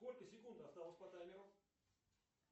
сколько секунд осталось по таймеру